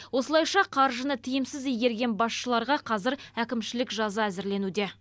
осылайша қаржыны тиімсіз игерген басшыларға қазір әкімшілік жаза әзірленуде